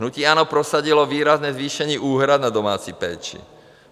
Hnutí ANO prosadilo výrazné zvýšení úhrad na domácí péči.